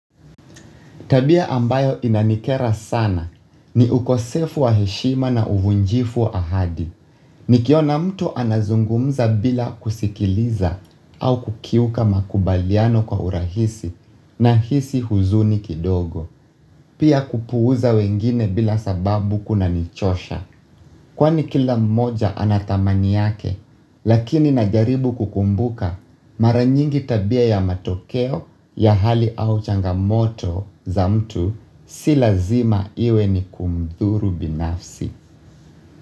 Tabia ambayo inanikera sana ni ukosefu wa heshima na uvunjifu ahadi. Nikiona mtu anazungumza bila kusikiliza au kukiuka makubaliano kwa urahisi nahisi huzuni kidogo. Pia kuupuza wengine bila sababu kunanichosha. Kwani kila mmoja anatamani yake, lakini najaribu kukumbuka mara nyingi tabia ya matokeo ya hali au changamoto za mtu si lazima iwe ni kumdhuru binafsi.